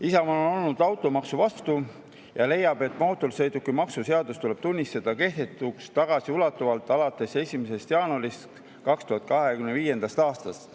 Isamaa on olnud automaksu vastu ja leiab, et mootorsõidukimaksu seadus tuleb tunnistada kehtetuks tagasiulatuvalt alates 1. jaanuarist 2025. aastast.